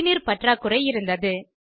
குடிநீர் பற்றாக்குறை இருந்தது